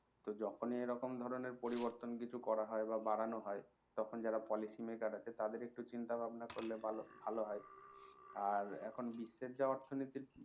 তো যখন ই এরকম ধরনের পরিবর্তন করা হয় বা বাড়ানো হয় তখন যারা policy maker আছে তাদের একটু চিন্তা ভাবনা করলে ভালো ভালো হয় আর এখন বিশ্বের যা অর্থনীতির অবস্থা